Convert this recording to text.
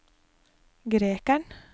grekeren